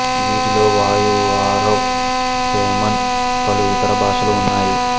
వీటిలో వయూ వరావ్ పెమన్ పలు ఇతర భాషలు ఉన్నాయి